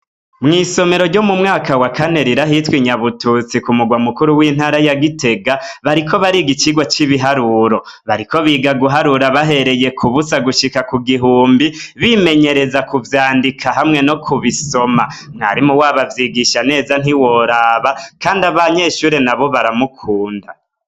Mw'isomero ryo mu mwaka wa kane riri ahitwa inyabututsi kumurwa mukuru w'intara ya gitega bariko bariga icigwa c'ibiharuro, bariko biga bahereye kubusa gushika kugihumbi bimenyereza kuvyandika hamwe nokubisoma, umwarimu wabo avyigisha neza ntiworoba kandi abanyeshure nabo baramukunda.